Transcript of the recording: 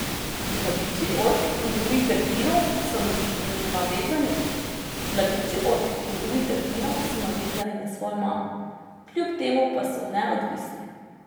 Mladiči ork in drugih delfinov so navezani na svojo mamo, kljub temu pa so neodvisni.